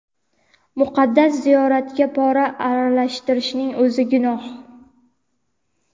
"Muqaddas ziyoratga pora aralashtirishning o‘zi gunoh".